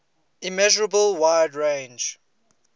immeasurable wide range